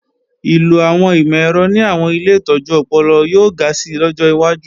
Ìlò àwọn ìmọ̀-ẹ̀rọ ní àwọn ilé ìtọ́jú ọpọlọ yóò ga si lọ́jọ́ wájú